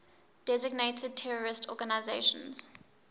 designated terrorist organizations